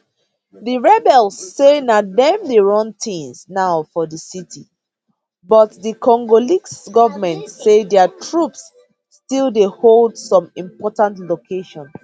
di rebels say na dem dey run tins now for di city but di congolese goment say dia troops still dey hold some important locations